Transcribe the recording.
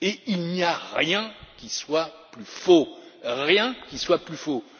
Il n'y a rien qui soit plus faux, rien qui soit plus faux!